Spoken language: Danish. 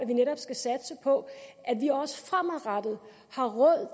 vi netop skal satse på at vi også fremadrettet har råd